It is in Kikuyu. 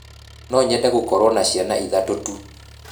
No nyende gũkorwo na ciana ithatu tu